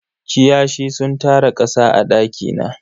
Kiyashi sun tara kasa a daki na.